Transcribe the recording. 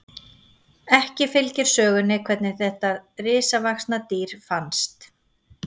Ekki fylgir sögunni hvenær þetta risavaxna kvendýr fannst.